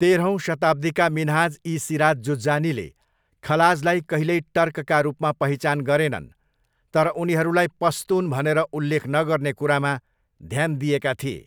तेह्रौँ शताब्दीका मिन्हाज ई सिराज जुज्जानीले खलाजलाई कहिल्यै टर्कका रूपमा पहिचान गरेनन्, तर उनीहरूलाई पस्तुन भनेर उल्लेख नगर्ने कुरामा ध्यान दिएका थिए।